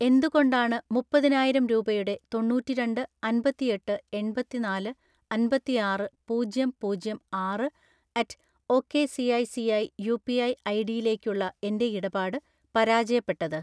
എന്തുകൊണ്ടാണ് മുപ്പതിനായിരം രൂപയുടെ തൊണ്ണൂറ്റിരണ്ട്‍ അൻപത്തിഎട്ട് എൺപത്തിനാല് അൻപത്തിആറ് പൂജ്യം പൂജ്യം ആറ് അറ്റ് ഒക്കെസിഐസിഐ യുപിഐ ഐഡിയിലേക്കുള്ള എൻ്റെ ഇടപാട് പരാജയപ്പെട്ടത്?